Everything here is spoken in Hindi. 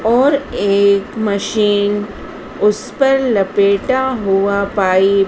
और एक मशीन उस पर लपेटा हुआ पाइ--